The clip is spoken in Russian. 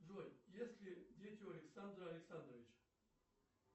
джой есть ли дети у александра александровича